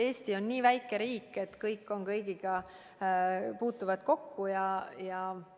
Eesti on nii väike riik, et kõik puutuvad kõigiga kokku.